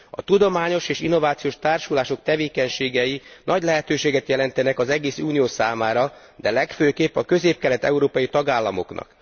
A Tudományos és Innovációs Társulások tevékenységei nagy lehetőséget jelentenek az egész Unió számára, de legfőképp a közép kelet európai tagállamoknak.